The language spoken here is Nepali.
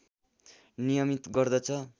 नियमित गर्दछ